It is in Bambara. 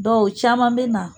Dɔ u caman bɛ na